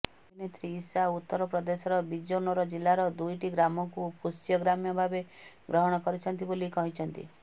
ଅଭିନେତ୍ରୀ ଇଶା ଉତ୍ତରପ୍ରଦେଶର ବିଜନୋର ଜିଲ୍ଲାର ଦୁଇଟି ଗ୍ରାମକୁ ପୋଷ୍ୟ ଗ୍ରାମ ଭାବେ ଗ୍ରହଣ କରିଛନ୍ତି ବୋଲି କହିଛନ୍ତି